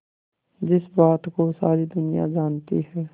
जिस बात को सारी दुनिया जानती है